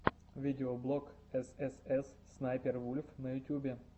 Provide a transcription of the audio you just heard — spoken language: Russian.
видеоблог эс эс эс снайпер вульф на ютюбе